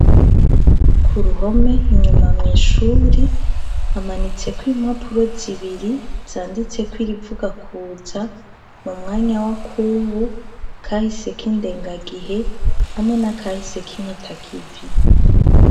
Ku ruhome inyuma mw'ishure hamanitseko impapuro zibiri zanditseko irivuga kuza mu mwanya wa kubu, kahise k'indengagihe hamwe na kahise k'impitakivi.